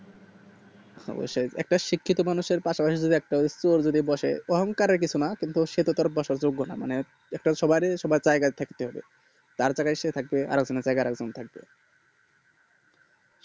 অবশ্যই একটা শিক্ষিত মানুষের পাশে পাশে যদি অহংকারের কিছু না ওর সাথে তোর বসার যোগ্য না একটা সবারই সবার জায়গা থাকে যার জায়গায় যে থাকে আরেকজনের জায়গায় আরেক জন থাকে